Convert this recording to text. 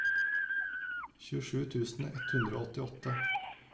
tjuesju tusen ett hundre og åttiåtte